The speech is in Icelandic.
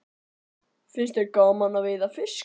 Finnst þér gaman að veiða fisk?